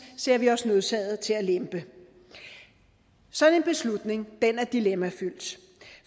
ser vi os nødsaget til at lempe sådan en beslutning er dilemmafyldt